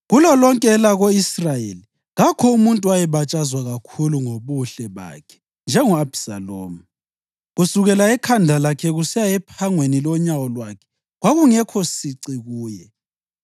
Kulolonke elako-Israyeli kakho umuntu owayebatshazwa kakhulu ngobuhle bakhe njengo-Abhisalomu. Kusukela ekhanda lakhe kusiya ephangweni lonyawo lwakhe kwakungekho sici kuye.